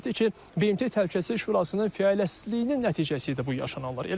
Qeyd etdi ki, BMT Təhlükəsizlik Şurasının fəaliyyətsizliyinin nəticəsiydi bu yaşananlar.